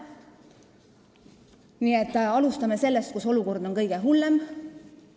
Nii et alustame sealt, kus olukord on kõige hullem.